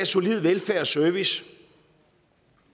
solid velfærd og service